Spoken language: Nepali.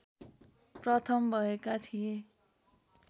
प्रथम भएका थिए